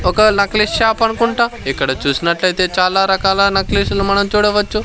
ఒక necklace shop అనుకుంటా ఇక్కడ చూసినట్లయితే చాలా రకాల నెక్లెస్లు మనం చూడవచ్చు.